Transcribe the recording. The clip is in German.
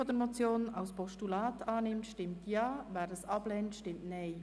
Wer diese als Postulat annimmt, stimmt Ja, wer dies ablehnt, stimmt Nein.